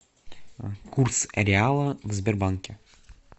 курс реала в сбербанке